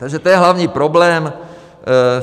Takže to je hlavní problém.